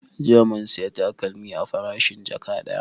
Jiya mun saya takalmi a farashin jaka ɗaya